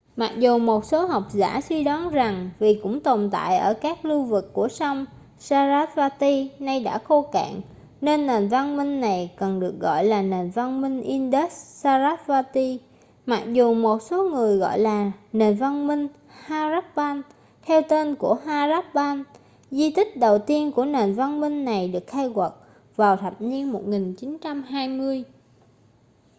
mặc dù một số học giả suy đoán rằng vì cũng tồn tại ở các lưu vực của sông sarasvati nay đã khô cạn nên nền văn minh này cần được gọi là nền văn minh indus-sarasvati mặc dù một số người gọi là nền văn minh harappan theo tên của harappa di tích đầu tiên của nền văn minh này được khai quật vào thập niên 1920